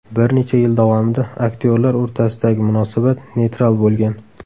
Bir necha yil davomida aktyorlar o‘rtasidagi munosabat neytral bo‘lgan.